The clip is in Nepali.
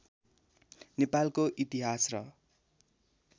नेपालको इतिहास र